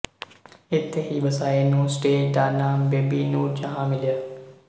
ਇੱਥੇ ਹੀ ਵਸਾਏ ਨੂੰ ਸਟੇਜ ਦਾ ਨਾਮ ਬੇਬੀ ਨੂਰਜਹਾਂ ਮਿਲਿਆ